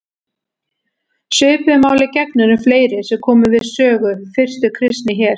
Svipuðu máli gegnir um fleiri sem komu við sögu fyrstu kristni hér.